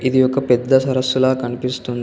ఈ ఒక పెద్ద సరస్సుల కనిపిస్తుంది.